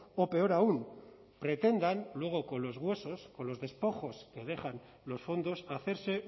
o peor aún pretendan luego con los huesos o los despojos que dejan los fondos hacerse